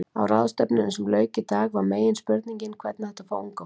Á ráðstefnunni sem lauk í dag var meginspurningin hvernig ætti að fá unga fólkið?